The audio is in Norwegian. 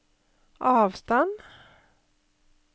avstand